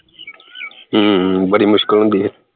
ਹਮ ਬੜੀ ਮੁਸ਼ਕਿਲ ਹੁੰਦੀ ਐ